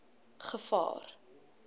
gevaar